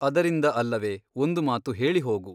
ಅದರಿಂದ ಅಲ್ಲವೆ ಒಂದು ಮಾತು ಹೇಳಿ ಹೋಗು.